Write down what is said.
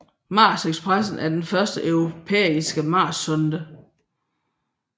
Mars Express er den første europæiske marssonde